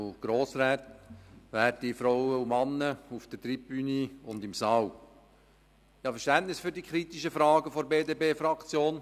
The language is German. Ich habe Verständnis für die kritischen Fragen der BDP-Fraktion.